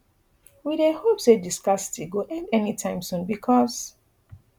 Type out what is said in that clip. we dey hope say di scarcity go end anytime soon becos